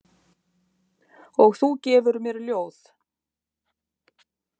Og þú gefur mér ljóð.